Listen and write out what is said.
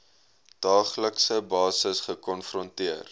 daaglikse basis gekonfronteer